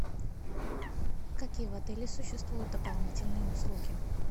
какие в отеле существуют дополнительные услуги